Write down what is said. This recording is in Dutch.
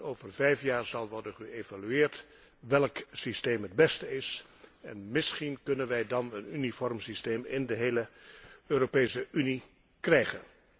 Over vijf jaar zal worden geëvalueerd welk systeem het beste is, en misschien kunnen wij dan een uniform systeem in de hele Europese Unie krijgen.